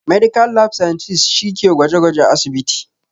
Medical lab scientist' shi ke gwaje gwajen a asibiti